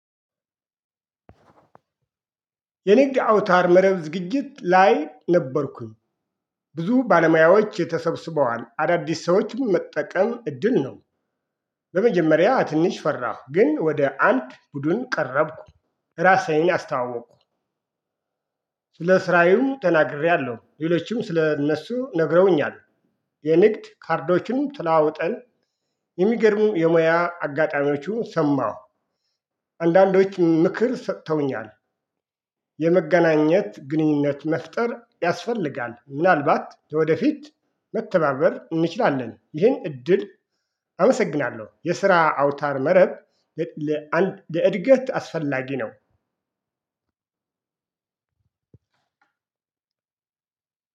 የንግድ አውታር መረብ ዝግጅት ላይ ነበርኩኝ ብዙ ባለሙያዎች የተሰበሰበዋን አዳዲስ ሰዎችም መጠቀም እድል ነው። በመጀመሪያ ትንሽ ፈራሁ ግን ወደ አንድ ቡድን ቀረብኩ ራሴን አስታወቁ። ለስራዬም ተናግሬያለሁ ሌሎችም ስለ እነሱ ነግረውኛል። የንግድ ካርዶችንም ትላውጠን የሚገርሙ የሙያ አጋጣሚዎቹን ሰማሁ። አንዳንዶች ምክር ሰጥተውኛል። የመገናኘት ግንኙነት መፍጠር ያስፈልጋል ምናልባት ወደፊት መተባበር እንችላለን። ይሄን እድል አመሰግናለሁ የስራ አውታር መረብ። ለእድገት አስፈላጊ ነው።